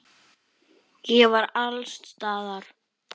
Ég var alls staðar.